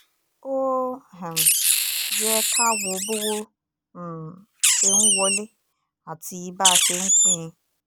ó um yẹ ká wo bọ́wọ́ um ṣe ń wọlé àti bá a ṣe ń pín in